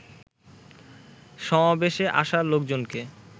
সমাবেশে আসা লোকজনকে